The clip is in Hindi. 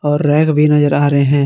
और रैक भी नजर आ रहे हैं।